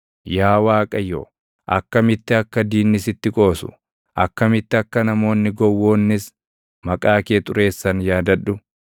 Yaa Waaqayyo, akkamitti akka diinni sitti qoosu, akkamitti akka namoonni gowwoonnis maqaa kee xureessan yaadadhu.